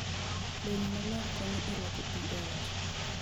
Lewni maler konyo e rwako pi e ot.